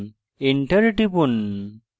enter টিপুন